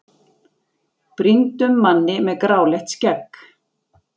brýndum manni með gráleitt skegg.